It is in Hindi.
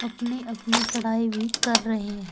अपने अपनी पढ़ाई भी कर रहे हैं।